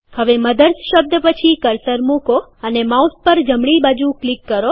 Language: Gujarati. હવે મધર્સ શબ્દ પછી કર્સર મુકો અને માઉસ પર જમણી બાજુ ક્લિક કરો